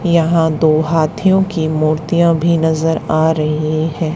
यहां दो हाथियों की मूर्तियां भी नजर आ रही हैं।